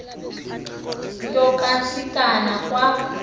nto kantsikana kwa